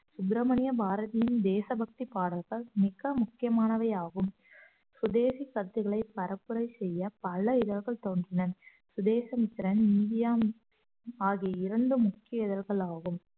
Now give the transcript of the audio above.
சுப்பிரமணிய பாரதியின் தேசபக்தி பாடல்கள் மிக முக்கியமானவையாகும் சுதேசி சத்துக்களை பரப்புரை செய்ய பல இதழ்கள் தோன்றின சுதேசமித்திரன் இந்தியா ஆகிய இரண்டும் முக்கிய இதழ்களாகும்